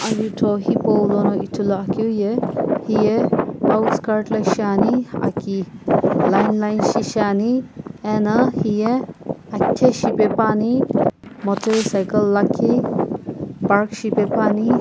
jutho hipaulono ithuluakeu ye hiye outskirt la shiani aki line line shi shiani ena hiye akithe shipepuani motorcycle lakhi park shipepuani.